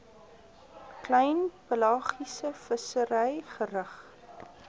klein pelagiesevissery gerig